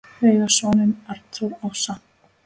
Þau eiga soninn Arnþór Ása.